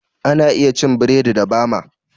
Ana iya cin burodi da bama